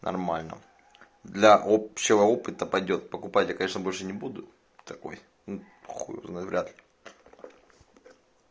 нормально для общего опыта пойдёт покупать я конечно больше не буду такой хуй его знает вряд ли